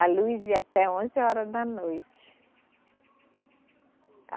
A luz ia até onze horas da noite. A